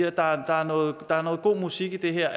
at der er noget er noget god musik i det her